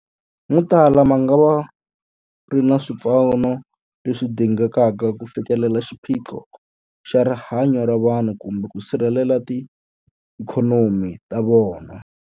Motala mangava ma nga ri na swipfuno leswi dingekaka ku fikelela xiphiqo xa rihanyu ra vanhu kumbe ku sirhelela tiikhonomi ta vona.